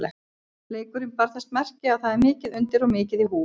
Leikurinn bar þess merki að það er mikið undir og mikið í húfi.